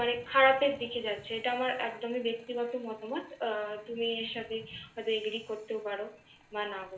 মানে খারাপের দিকে যাচ্ছে। এটা আমার একদমই ব্যক্তিগত মতামত। তুমি এর সাথে হয়তো AGREE করতেও পার বা না পার।